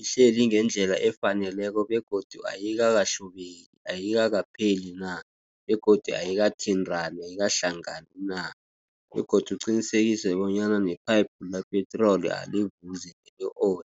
ihleli ngendlela efaneleko, begodu ayikakahlubeki. Ayikakapheli na, begodu ayikathintrani ayikahlangani na, begodu uqinisekise bonyana nephayiphu lepetrol alivuzi i-oli.